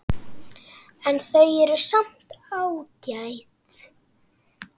En þau eru samt ágæt.